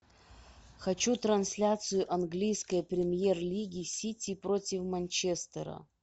хочу трансляцию английской премьер лиги сити против манчестера